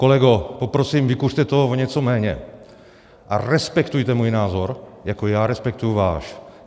Kolego, poprosím, vykuřte toho o něco méně a respektujte můj názor, jako já respektuji váš.